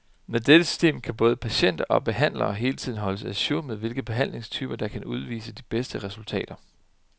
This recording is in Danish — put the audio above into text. Med dette system kan både patienter og behandlere hele tiden holdes a jour med hvilke behandlingstyper, der kan udvise de bedste resultater.